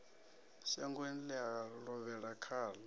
shangoni ḽe a lovhela khaḽo